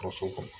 Kaso kɔnɔ